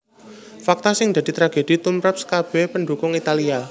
Fakta sing dadi tragedi tumrap skabèh pendhukung Italia